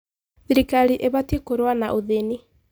Thirikari ĩbatiĩ kũrũa na ũthĩni.